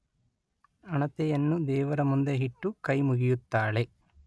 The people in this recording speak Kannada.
ಹಣತೆಯನ್ನು ದೇವರ ಮುಂದೆ ಇಟ್ಟು ಕೈ ಮುಗಿಯುತ್ತಾಳೆ